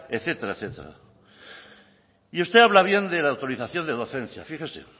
etcétera etcétera y usted habla bien de la autorización de docencia fíjese